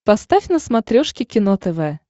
поставь на смотрешке кино тв